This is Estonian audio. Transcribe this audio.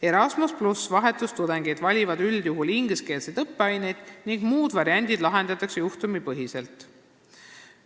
Erasmus+ vahetustudengid valivad üldjuhul ingliskeelseid õppeaineid ning muud variandid lahendatakse juhtumipõhiselt.